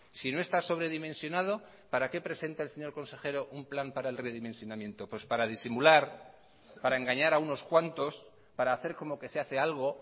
si no está sobredimensionado para qué presenta el señor consejero un plan para el redimensionamiento pues para disimular para engañar a unos cuantos para hacer como que se hace algo